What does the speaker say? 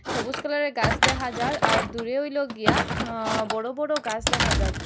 সবুজ কালারের গাছ দেখা যার আর দূরে হইলো গিয়া অ্য বড় বড় গাছ দেখা যার।